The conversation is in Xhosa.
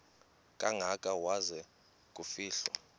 kangaka waza kufihlwa